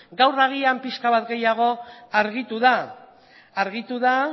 gaur agin pixka bat gehiago argitu da